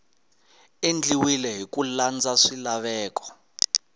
endliwile hi ku landza swilaveko